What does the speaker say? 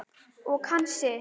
Og kann sig.